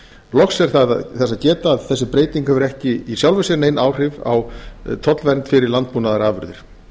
loks er þess geta að þessi breyting hefur ekki í sjálfu sér nein áhrif á tollvernd fyrir landbúnaðarafurðir